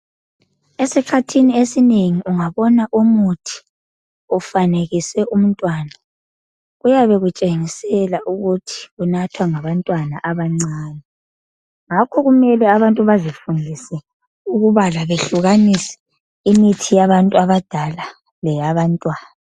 Esikhathini esinengi ungabona umuthi efanekiswe umntwana kuyabe kutshengisela ukuthi kunathwa ngabantwana abancane ngakho kumele abantu bazifundise ukubala behlukanisa imithi yabantu abadala labantwana.